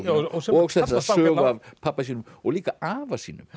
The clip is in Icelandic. og sögu af pabba sínum og líka afa sínum